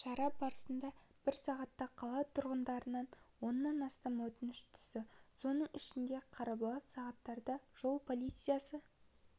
шара барысында бір сағатта қала тұрғындарынан оннан астам өтініш түсті соның ішінде қарбалас сағаттарда жол полициясы